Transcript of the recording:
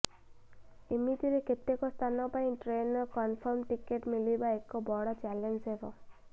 ଏମିତିରେ କେତେକ ସ୍ଥାନ ପାଇଁ ଟ୍ରେନର କଂଫର୍ମ ଟିକେଟ ମିଳିବା ଏକ ବଡ ଚ୍ୟାଲେଂଜ ହେବ